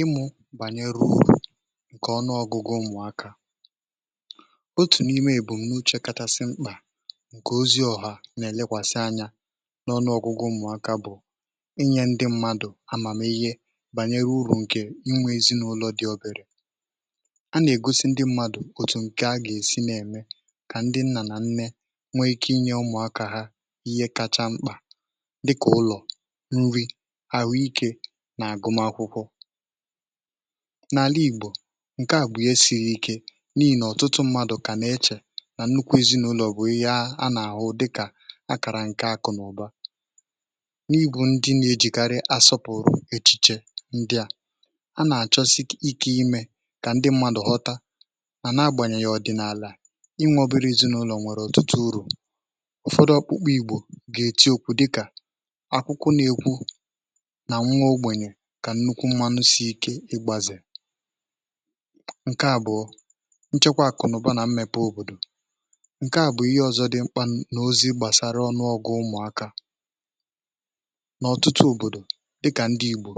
ịmụ̇ bànyèrè ụmụ̀akȧ ǹkè ọnụ ọgụgụ ụmụ̀akȧ bụ̀ otu n’ime èbùmme uchėkàtàsị mkpà ǹkè ozi ọ̀ha nà-èlekwàsị anyȧ n’ọnụ ọgụgụ ụmụ̀akȧ, bụ̀ inyė ndị mmadụ̀ àmàmihe bànyèrè ụrù ǹkè inwė èzinụlọ̇ dị̀ ọ̀bèrè. a nà-ègosi ndị mmadụ̀ òtù ǹkè a gà-èsi n’ème kà ndị nnà nà nne nwee ike inyė ụmụ̀akȧ ha ihe kacha mkpà nà àgụm akwụkwọ. n’àla Ìgbò, ǹkè à bụ̀ ya siri ike n’ihì nà ọ̀tụtụ mmadụ̀ kà nà-eche nà nnukwu ezinàụlọ̀ bụ̀ ihe a nà-àhụ dịkà akàrà ǹkè akụ̀ nà ụ̀ba. n’ibù ndị nà-èjikarị asọpụ̀rụ̀ echìchè ndị à, a nà-àchọsị ike um imē kà ndị mmadụ̀ ghọta mà na agbànyènyè ọ̀dịnàlà inwė ọbịrị̇ ezinàụlọ̀ nwèrè ọ̀tụtụ ụ̇rọ̇. ụ̀fọdụ ọkpụkpa Ìgbò gà-èti okwu dịkà nà “nwuo ogbenye kà nnukwu mmanụ si ike ịgbazè.” ǹkè àbụọ bụ̀ nchekwa àkụ̀nụ̀bà nà mmepe òbòdò. ǹkè à bụ̀ ihe ọzọ dị mkpà n’ozi gbàsara ọnụọgụ ụmụ̀akȧ n’ọ̀tụtụ òbòdò dịkà ndị Ìgbò.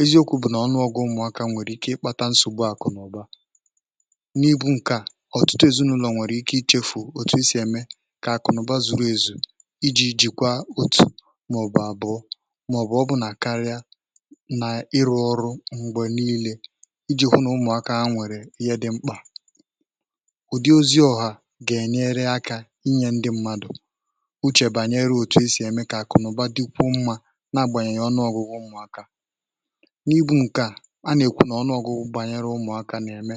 eziokwu̇ bụ̀ nà ọnụọgụ ụmụ̀akȧ nwèrè ike ịkpàta nsògbu àkụ̀nụ̀bà n’ihu ǹkè a, ọ̀tụtụ èzinụlọ̀ nwèrè ike ichèfu̇ òtù e sì eme kà àkụ̀nụ̀bà zuru èzù iji̇ jìkwa otù̀ màọ̀bụ̀ àbụọ nà ịrụ̇ ọrụ mgbè niile iji̇ hụ nà ụmụ̀akȧ ha nwèrè ihe dị̇ mkpà. ụ̀dị ozi ọ̀ha gà-ènye akà inyė ndị mmadụ̀ ùchè bànyere òtù e sì ème kà àkụ̀nụ̀bà dịkwụ mmȧ na-agbànyènyè ọnụ̇ gụ̇gụ̇ ụmụ̀akȧ n’ibu̇. ǹkè à, a nà-èkwu nà ọnụ̇ gụ̇gụ̇ bànyere ụmụ̀akȧ nà-ème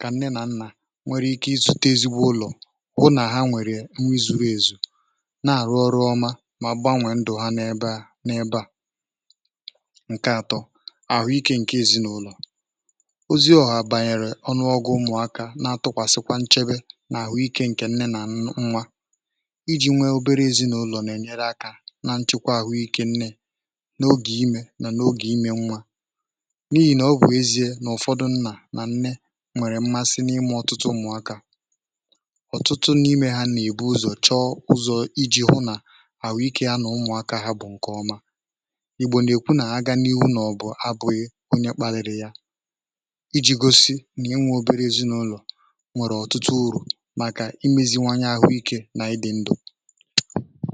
kà nne nà nnà nwee ike izute ezigbo ụlọ̀, gụnà ha nwèrè onwe zuru ezù nà-àrụ ọrụ ọma um mà gbànwè ndụ̀ ha n’ebe à n’ebe à. ǹkè atọ̇ bụ̀ àhụ ikė ǹkè èzinụlọ̀. ozi ọ̀hà bànyèrè ọnụọgụ ụmụ̀akȧ na-atụkwàsịkwa nchebe nà àhụ ikė ǹkè nne nà nwa iji̇ nwee obere èzinụlọ̀ nà-ènyere akà nà nchekwa àhụ ikė nne n’ogè imē nà n’ogè ime nwa. n’ihì nà ọ bụ̀ ezie nà ụ̀fọdụ nnà nà nne nwèrè mmasị n’ime ọtụtụ ụmụ̀akȧ, ọ̀tụtụ n’imē hȧ nà-èbu ụzọ̇ chọ ụzọ̇ iji̇ hụ̇ nà àhụ ikė ya nà ụmụ̀akȧ ha bù ǹkè ọma. onye kpaliri yà iji̇ gosi nà inwė obere èzinụlọ̀ nwèrè ọ̀tụtụ ụrù màkà imēziwanye àhụ ikė nà ịdị̇ ndȯ.